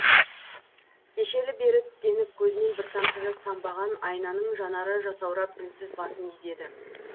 кешелі бері тістеніп көзінен бір тамшы жас тамбаған айнаның жанары жасаурап үнсіз басын изеді